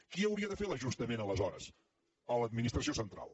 qui hauria de fer l’ajustament aleshores l’administració central